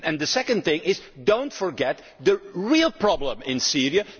us up. The second thing is do not forget the real problem in